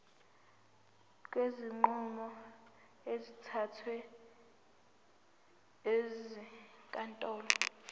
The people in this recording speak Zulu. kwezinqumo ezithathwe ezinkantolo